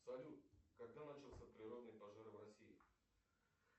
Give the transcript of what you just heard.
салют когда начался природный пожар в россии